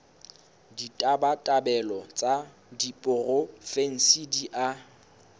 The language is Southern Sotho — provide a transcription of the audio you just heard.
ditabatabelo tsa diporofensi di a